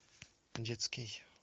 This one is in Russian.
детский